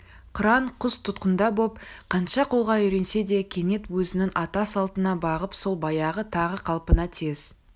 қыран құс тұтқында боп қанша қолға үйренсе де кенет өзінің ата салтына бағып сол баяғы тағы қалпына тез